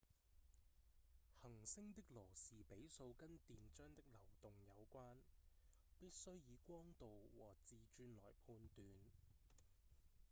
恆星的羅士比數跟電漿的流動有關必須以光度和自轉來判斷